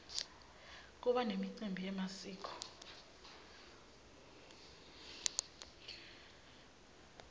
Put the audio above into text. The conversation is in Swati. kuba nemicimbi yemasiko